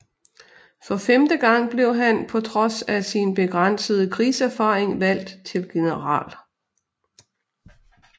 For femte gang blev han på trods af sin begrænsede krigserfaring valgt til general